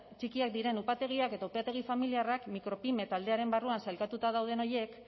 txikiak diren upategiak edo upategi familiarrak micropyme taldearen barruan sailkatuta dauden horiek